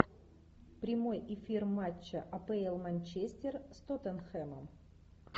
прямой эфир матча апл манчестер с тоттенхэмом